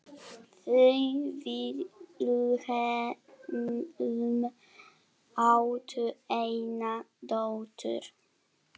Þau Vilhelm áttu eina dóttur.